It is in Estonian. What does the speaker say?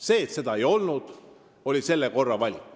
See, et seda ei olnud, oli seekordne valik.